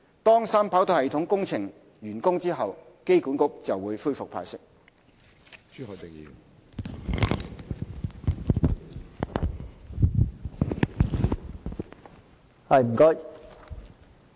當三跑道系統工程完工後，機管局便會恢復派息。